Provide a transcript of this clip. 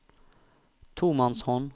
tomannshånd